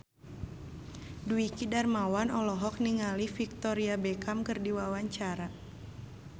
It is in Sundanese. Dwiki Darmawan olohok ningali Victoria Beckham keur diwawancara